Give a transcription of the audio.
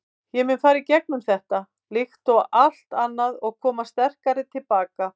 Ég mun fara í gegnum þetta, líkt og allt annað og koma sterkari til baka.